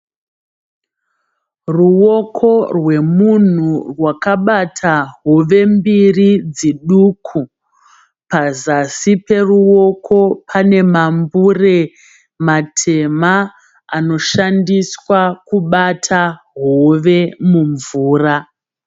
Ruoko rwemunhu rwakabata hove mbiri dziduku. Pazasi peruoko panemambure matema anoshandiswa kubata hove mumvura.